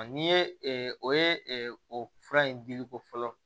N'i ye o ye o fura in dili ko fɔlɔ